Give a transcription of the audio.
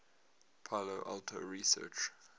palo alto research